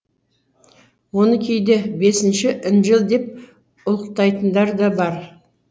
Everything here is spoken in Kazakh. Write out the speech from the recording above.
оны кейде бесінші інжіл деп ұлықтайтындар да бар